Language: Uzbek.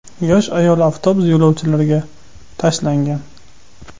Yosh ayol avtobus yo‘lovchilariga tashlangan.